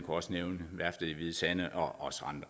også nævne værftet i hvide sande og